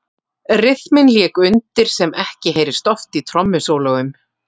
Ryþminn lék undir sem ekki heyrist oft í trommusólóum.